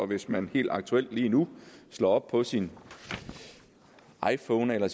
hvis man helt aktuelt lige nu slår op på sin iphone eller